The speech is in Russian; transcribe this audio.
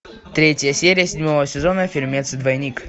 третья серия седьмого сезона фильмец двойник